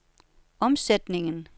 omsætning